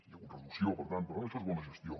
hi ha hagut reducció per tant això és bona gestió